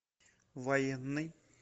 военный